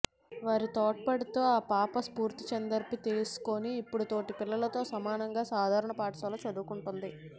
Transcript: వారి తోడ్పాటుతో ఆ పాప స్పీచ్థెరపీ తీసుకుని ఇప్పుడు తోటి పిల్లలతో సమానంగా సాధారణ పాఠశాలలో చదువుకుంటోంది